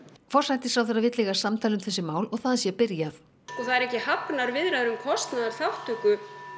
forsætisráðherra vill eiga samtal um þessi mál og það sé byrjað sko það eru ekki hafnar viðræður um kostnaðarþátttöku